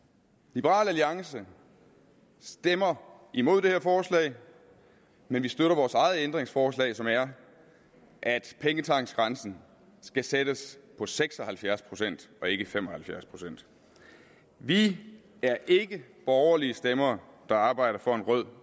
liberal alliance stemmer imod det her forslag men vi støtter vores eget ændringsforslag som er at pengetanksgrænsen skal sættes på seks og halvfjerds procent og ikke fem og halvfjerds procent vi er ikke borgerlige stemmer der arbejder for en rød